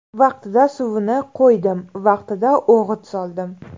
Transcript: Vaqtida suvini qo‘ydim, vaqtida o‘g‘it soldim.